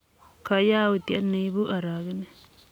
ko yautiet ne ibu arogenet.